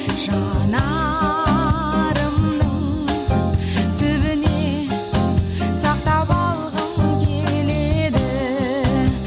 жанарымның түбіне сақтап алғым келеді